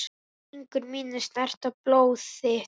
Fingur mínir snerta blóð þitt.